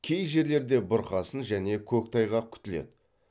кей жерлерде бұрқасын және көктайғақ күтіледі